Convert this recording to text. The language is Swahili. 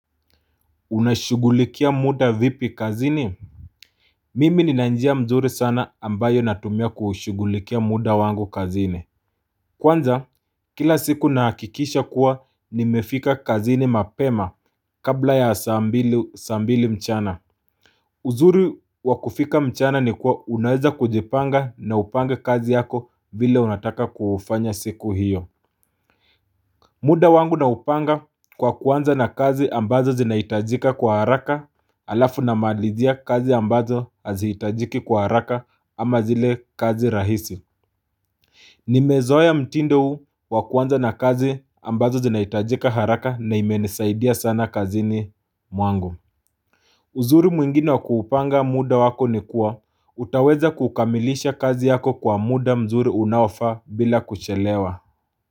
Unashugulikia muda vipi kazini? Mimi nina njia mzuri sana ambayo natumia kuushugulikia muda wangu kazini Kwanza kila siku nahakikisha kuwa nimefika kazini mapema kabla ya saa mbili mchana. Uzuri wa kufika mchana ni kuwa unaweza kujipanga na upange kazi yako vile unataka kuufanya siku hiyo. Muda wangu naupanga kwa kuanza na kazi ambazo zinahitajika kwa haraka alafu namalizia kazi ambazo hazihitajiki kwa haraka ama zile kazi rahisi. Nimezoea mtindo huu kwa kuanza na kazi ambazo zinahitajika haraka na imenisaidia sana kazini mwangu. Uzuri mwingine wa kuupanga muda wako ni kuwa utaweza kukamilisha kazi yako kwa muda mzuri unaofaa bila kuchelewa.